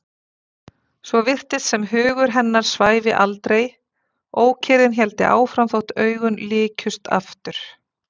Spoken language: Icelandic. Svo virtist sem hugur hennar svæfi aldrei, ókyrrðin héldi áfram þótt augun lykjust aftur.